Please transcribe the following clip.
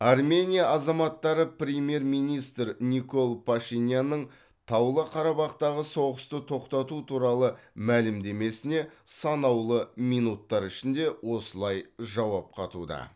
армения азаматтары премьер министр никол пашинянның таулы қарабақтағы соғысты тоқтату туралы мәлімдемесіне санаулы минуттар ішінде осылайша жауап қатуда